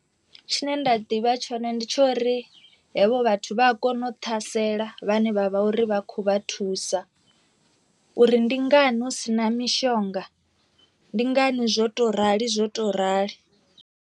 Tshine nda ḓivha tshone ndi tshori hevho vhathu vha a kono u ṱhasela vhane vha vha uri vha khou vha thusa, uri ndi ngani hu si na mishonga ndi ngani zwo to rali zwo to rali.